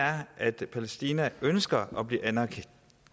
er at palæstina ønsker at blive